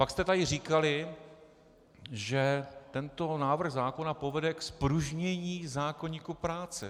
Pak jste tady říkali, že tento návrh zákona povede k zpružnění zákoníku práce.